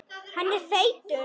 Hann er feitur.